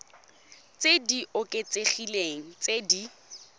tse di oketsegileng tse di